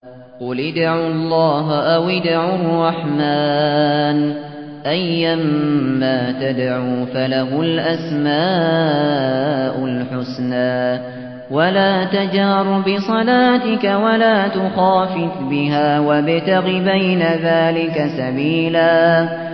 قُلِ ادْعُوا اللَّهَ أَوِ ادْعُوا الرَّحْمَٰنَ ۖ أَيًّا مَّا تَدْعُوا فَلَهُ الْأَسْمَاءُ الْحُسْنَىٰ ۚ وَلَا تَجْهَرْ بِصَلَاتِكَ وَلَا تُخَافِتْ بِهَا وَابْتَغِ بَيْنَ ذَٰلِكَ سَبِيلًا